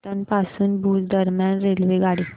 पाटण पासून भुज दरम्यान रेल्वेगाडी